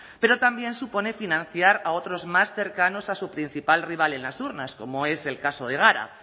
pero también supone financiar a otros más cercanos a su principal rival en las urnas como es el caso de gara